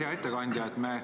Hea ettekandja!